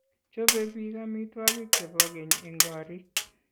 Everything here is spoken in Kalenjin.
Chobei biik amitwokik che bo keny eng koriik.